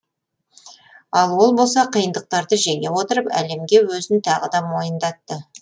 ал ол болса қиындықтарды жеңе отырып әлемге өзін тағы да мойындатты